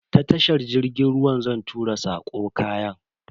Ta tashar jirgin ruwa zan tura sako kayan.